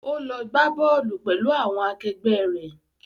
Ó lọ gbá bọ́ọ̀lù pẹ̀lú àwọn akẹgbẹ́ rẹ̀.